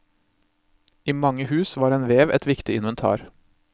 I mange hus var en vev et viktig inventar.